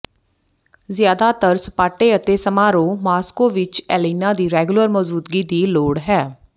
ਜ਼ਿਆਦਾਤਰ ਸਪਾਟੇ ਅਤੇ ਸਮਾਰੋਹ ਮਾਸ੍ਕੋ ਵਿੱਚ ਏਲੇਨਾ ਦੀ ਰੈਗੂਲਰ ਮੌਜੂਦਗੀ ਦੀ ਲੋੜ ਹੈ